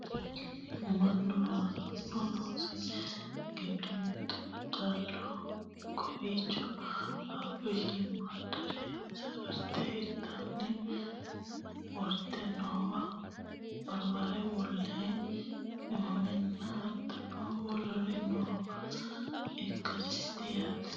mannu loosanno loosi giddo mittu daddaloho kowiicho qaaqqo shiimmaaddare safarte hirtara worte noowa barbare bullee qimammenna hattono woluri noowa ikkasiiti yaate